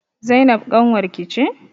Zainab ƙanwar ki ce?